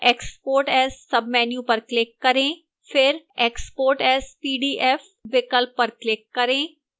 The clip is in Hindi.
export as submenu पर click करें